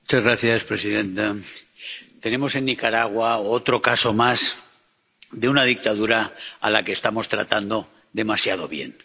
Señora presidenta, tenemos en Nicaragua otro caso más de una dictadura a la que estamos tratando demasiado bien.